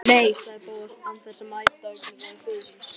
Nei sagði Bóas án þess að mæta augnaráði föður síns.